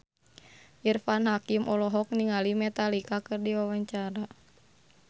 Irfan Hakim olohok ningali Metallica keur diwawancara